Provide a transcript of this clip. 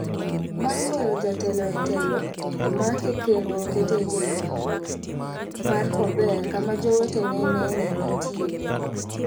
bang golo jatelo no e telo omake kendo okete e jela maduong' mar kober kama jowete ne nene nitiere